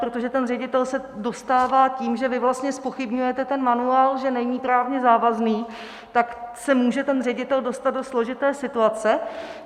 Protože ten ředitel se dostává tím, že vy vlastně zpochybňujete ten manuál, že není právně závazný, tak se může ten ředitel dostat do složité situace.